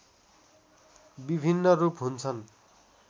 विभिन्न रूप हुन्छन्